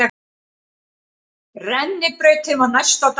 Rennibrautin var næst á dagskrá.